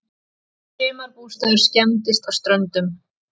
Sumarbústaður skemmdist á Ströndum